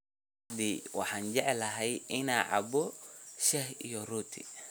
Subaxdii waxaan jeclahay inaan cabbo shaah iyo rooti.